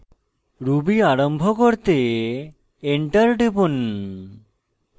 interactive ruby আরম্ভ করতে enter টিপুন